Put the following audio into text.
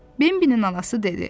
Bembinin anası dedi: